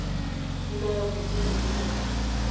di nayang botsogo jo bontle